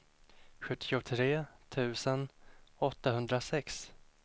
sjuttiotre tusen åttahundrasex